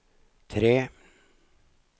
tre